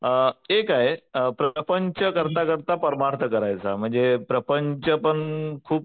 एक आहे प्रपंच करता करता परमार्थ करायचा म्हणजे प्रपंच पण खूप